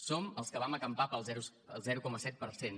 som els que vam acampar pel zero coma set per cent